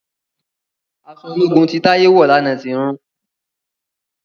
Aṣọ ológun tí Taye wọ lànà tí rún